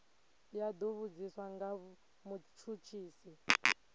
ya do vhudziswa nga mutshutshisi